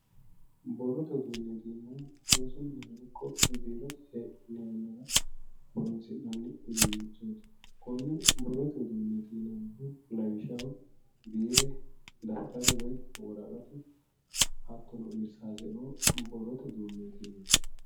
Borrote uduunneeti yimeemmohu rosu mine ikko biirote hee'ne horoonsi'nanni uduunnichooti konne borrote uduunneeti yinannihu lawishshaho biire dafitaru woyi woraqatu hattono irsaaseoo borrote uduunneeti yinanni.